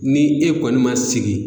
Ni e kɔni ma sigi